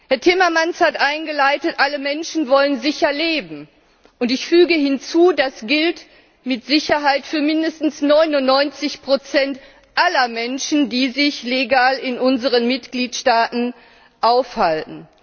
Herr Timmermans hat eingeleitet mit Alle Menschen wollen sicher leben. Und ich füge hinzu Das gilt mit Sicherheit für mindestens 99 aller Menschen, die sich legal in unseren Mitgliedstaaten aufhalten.